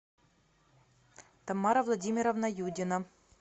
тамара владимировна юдина